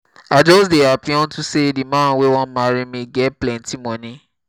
i just dey happy unto say the man wey wan marry me get plenty money